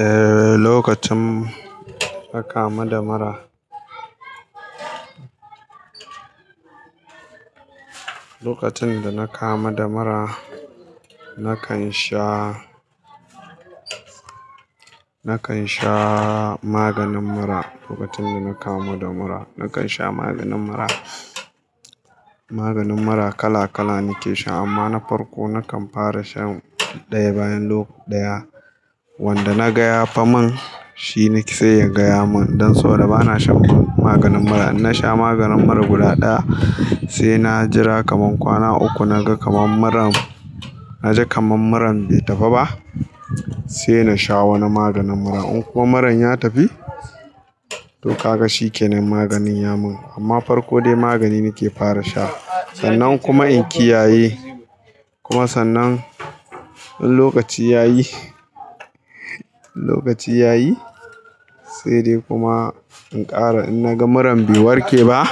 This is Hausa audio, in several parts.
Eh, lokacin aka ma damara. Lokacin da na kama damara nakan sha, nakan sha maganin mura. Lokacin da na kama damara nakan sha maganin mura. Maganin mura kala kala nike sha amma na farko nakan fara shan ɗaya bayan ɗaya. Wanda na gaya faman shi ne zai iya gaya mun don so ba na shan maganin mura. In na sha maganin mura guda ɗaya sai na jira kamar kwana uku na ga kamar muran, na ji kamar muran bai tafi ba sai na sha wani maganin mura. In kuwa muran ya tafi to ka ga shi kenan maganin ya mun amma farko dai magani nike fara sha. San nan kuma in kiyayi sanan kuma wani lokaci yayi lokaci yayi sai dai kuma in ƙara. In naga muran bai warke ba,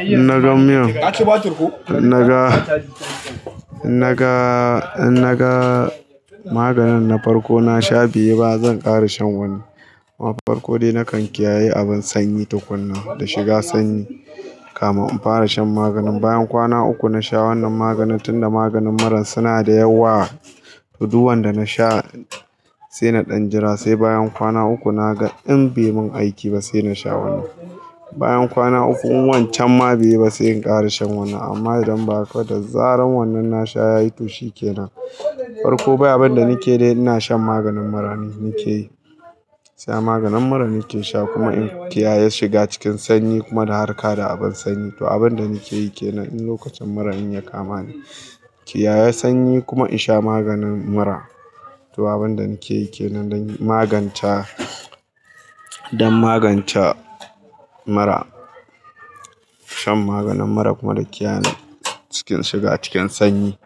in naga miyan, in naga, in naga, in naga maganin na farko na sha bai yi ba zan ƙara shan wani. Amma farko dai nakan kiyaye abin sanyi tukuna da shiga sanyi kama in fara shan maganin. Bayan kwana uku na sha wannan maganin tunda maganin muran suna da yawa, tudu wanda na sha sai na ɗan jira sai bayan kwana uku naga in bai mun aiki ba sai na sha wannan. Bayan kwana uku in wancan ma bai yi ba sai in ƙara shan wannan. Amma idan ba haka da zarar wannan na sha yayi to shi kenan. Farko bai abin da nike yi ina shan maganin mura nike yi. Sai maganin mura nike sha kuma in kiyaye shiga cikin sanyi kuma da harka da abin sanyi. To abin da nike yi kenan in lokacin mura in ya kama ni, kiyaye sanyi kuma in sha maganin mura. To abin da nike yi kenan don maganta, don maganta mura. Shan maganin mura kuma da kiyaye cikin shiga cikin sanyi.